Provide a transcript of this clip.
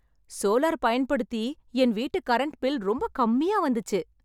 Solar பயன்படுத்தி, என் வீட்டு கரென்ட் பில் ரொம்ப கம்மியா வந்துச்சி.